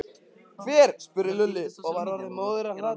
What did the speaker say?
Hver? spurði Lúlli og var orðinn móður af hlátri.